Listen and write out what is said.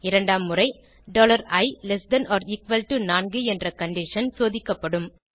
இரண்டாம் முறை i less than or equal to 4 என்ற கண்டிஷன் சோதிக்கப்படும்